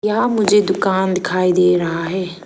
यहां मुझे दुकान दिखाई दे रहा है।